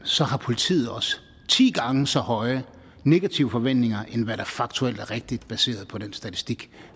så har politiet også ti gange så høje negative forventninger end hvad der faktuelt er rigtigt baseret på den statistik